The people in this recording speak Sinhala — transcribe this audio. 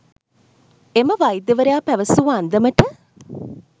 එම වෛද්‍යවරයා පැවසූ අන්දමට